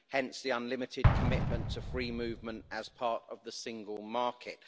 Hence the unlimited commitment to free movement as part of the single market.